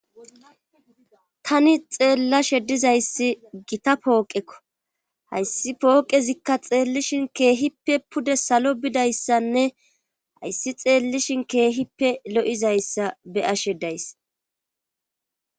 Tani xeellashe dizayssi gita pooqekko hayssi pooqezikka xeellishin keehippe pude salo bidayssanne hayssi xeellishin keehippe lo7izayssa beyashedays.